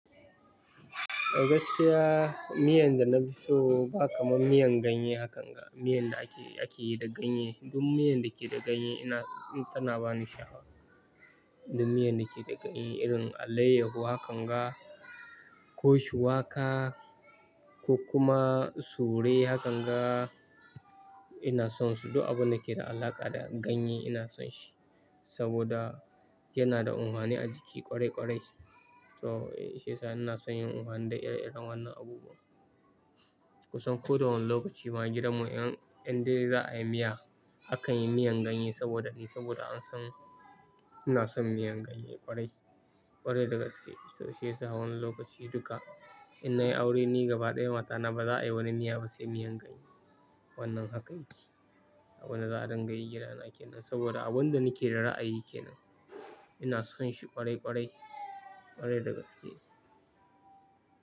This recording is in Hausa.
A gaskiya, miyan da na fi so ba kaman miyan ganye hakanga, miyan da ake, ake yi da ganye. Duk miyan da ke da ganye, ina tana bani sha'awa. Duk miyan da ke da ganye, irin alayyahu hakan ga, ko shuwaka ko kuma sure hakan ga, ina son su. Duk abun da ke da alaƙa da ganye ina son shi. Saboda yana da unhani a jiki kwarai kwarai. To shiyasa ina son irin wannan da ire-iren wannan abubuwan. Kusan ko da wane lokaci ma a gidanmu in, inda za'a yi miya akan yi miyan ganye saboda ni, saboda an san ina son miyan ganye ƙwarai, ƙwarai da gaske. To shiyasa wannan lokaci duka in na yi aure, ni gaba ɗaya mata na ba za'a yi wani miya ba sai miyan ganye. Wannan haka yake. Abin da za'a dinga yi gidana kenan. Saboda abin da nake da ra'ayi kenan ina son shi ƙwarai ƙwarai, ƙwarai da gaske.